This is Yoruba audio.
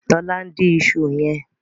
lọla ǹ dín iṣu yen.